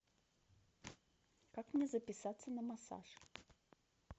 как мне записаться на массаж